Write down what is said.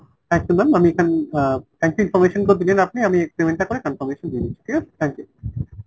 thank you ma'am আমি এখানে আহ thank you information গুলো দিলেন আপনি। আমি payment টা করে confirmation দিয়ে দিচ্ছি ঠিক আছে ? thank you।